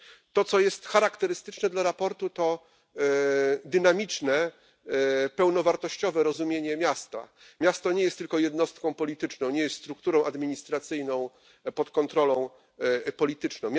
To, co charakterystyczne dla sprawozdania, to dynamiczne, pełnowartościowe rozumienie miasta. Miasto nie jest tylko jednostką polityczną, strukturą administracyjną pod kontrolą polityczną.